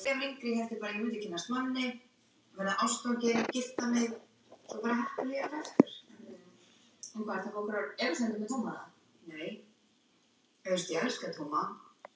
Já, hún er það.